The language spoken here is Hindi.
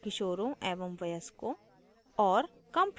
किशोरों एवं वयस्कों और